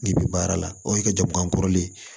N'i bi baara la o y'i ka jamu kɔrɔlen ye